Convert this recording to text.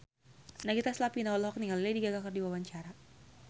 Nagita Slavina olohok ningali Lady Gaga keur diwawancara